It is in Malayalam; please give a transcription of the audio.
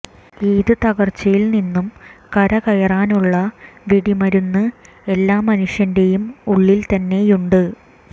ഏത് തകര്ച്ചയിൽ നിന്നും കരകയറാനുള്ള വെടിമരുന്ന് എല്ലാ മനുഷ്യന്റെയും ഉള്ളിൽ തന്നെയുണ്ട്